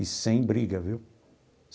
E sem briga, viu?